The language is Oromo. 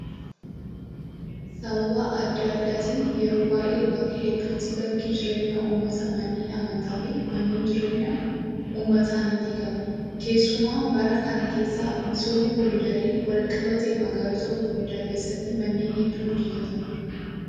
Sababa adda addaatiin yeroo baay'ee bakka hedduutti bakki jireenya uummataa manneen amantaa fi manneen jireenyaa uummataa ni diigamu. Keessumaa bara kana sababa misooma koriidariin wal qabatee magaalota gurguddaa keessatti manneen hedduun diigamaniiru.